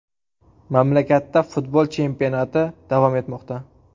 Mamlakatda futbol chempionati davom etmoqda .